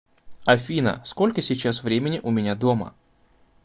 афина сколько сейчас времени у меня дома